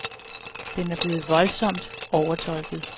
Den er blevet voldsomt overtolket.